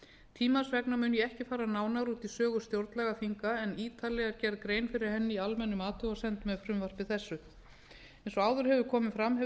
tímans vegna mun ég ekki fara nánar út í sögu stjórnlagaþinga en ítarlega er gerð grein fyrir henni í almennum athugasemdum með frumvarpi þessu eins og áður hefur komið fram hafa